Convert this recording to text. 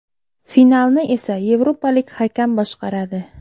Finalni esa yevropalik hakam boshqaradi.